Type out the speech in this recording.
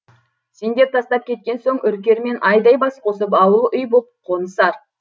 сендер тастап кеткен соң үркер мен айдай бас қосып ауыл үй боп қонысар